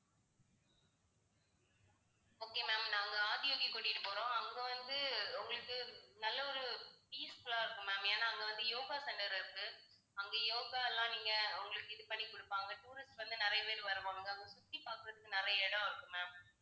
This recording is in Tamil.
okay ma'am நாங்க ஆதியோகிக்கு கூட்டிட்டு போறோம் அங்க வந்து உங்களுக்கு நல்ல ஒரு peaceful ஆ இருக்கும் ma'am ஏன்னா அங்க வந்து yoga center இருக்கு. அங்க yoga எல்லாம் நீங்க அவங்களுக்கு இது பண்ணி கொடுப்பாங்க tourist வந்து நிறைய பேர் வருவாங்க. அங்க சுற்றி பார்க்கிறதுக்கு நிறைய இடம் இருக்கு ma'am